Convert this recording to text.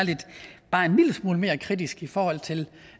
bare en lille smule mere kritisk i forhold til